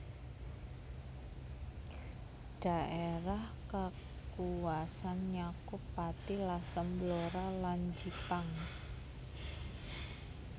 Dhaérah kakuwasan nyakup Pati Lasem Blora lan Jipang